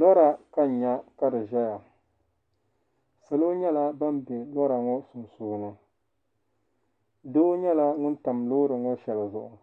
Lɔra ka n nya ka di ʒɛya salo nyala ban. be lɔraŋɔ sunsuuni, doo nyɛla ŋun tam lɔɔriŋɔ shɛli zuɣu